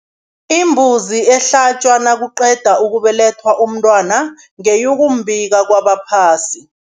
Imbuzi ehlatjwa nakuqeda ukubelethwa umntwana, ngeyokumbika kabaphasi.